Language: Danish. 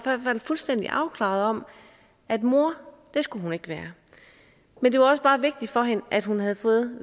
fuldstændig afklaret om at mor skulle hun ikke være men det var også bare vigtigt for hende at hun havde fået